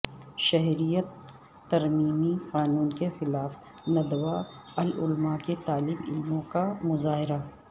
شہریت ترمیمی قانون کے خلاف ندوہ العلما کے طالب علموں کا مظاہرہ